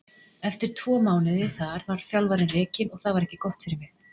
Eftir tvo mánuði þar var þjálfarinn rekinn og það var ekki gott fyrir mig.